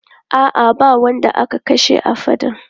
A'a, ba wanda aka kashe a faɗan.